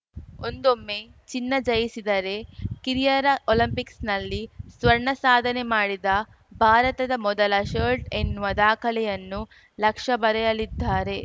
ಒಂದೊಮ್ಮೆ ಚಿನ್ನ ಜಯಿಸಿದರೆ ಕಿರಿಯರ ಒಲಿಂಪಿಕ್ಸ್‌ನಲ್ಲಿ ಸ್ವರ್ಣ ಸಾಧನೆ ಮಾಡಿದ ಭಾರತದ ಮೊದಲ ಶಲ್ಟ್ ಎನ್ನುವ ದಾಖಲೆಯನ್ನು ಲಕ್ಷ್ಯ ಬರೆಯಲಿದ್ದಾರೆ